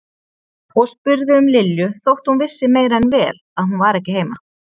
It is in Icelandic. Og spurði um Lilju þótt hún vissi meira en vel að hún var ekki heima.